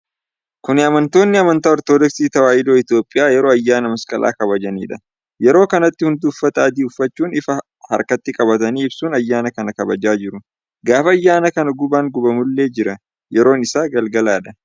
Kuni amantoonni amantaa Ortodoksii Tawaayidoo Itoopiyaa yeroo ayyaana masqalaa kabajanidha. Yeroo kanatti hunduu uffata adii uffachuun ifaa harkatti qabatanii ibsuun ayyaana kana kabaju. Gaafa ayyaana kanaa gubaan gubamullee jira. Yeroon isaa galgaladha.